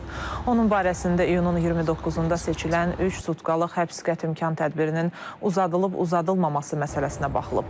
Onun barəsində iyunun 29-da seçilən üç sutkalıq həbs qətimkan tədbirinin uzadılıb-uzadılmaması məsələsinə baxılıb.